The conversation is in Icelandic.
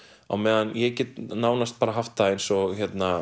á meðan ég get nánast haft það eins og